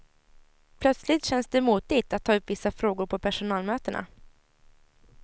Plötsligt känns det motigt att ta upp vissa frågor på personalmötena.